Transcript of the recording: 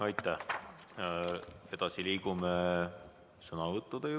Aitäh!